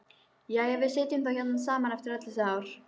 Jæja, við sitjum þá hérna saman eftir öll þessi ár.